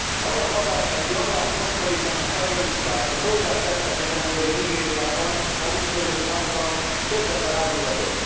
Az a Baga, amelyet január 8 án a terroristák a földdel tettek egyenlővé Nigériában, maguk mögött hagyva több ezer áldozatot.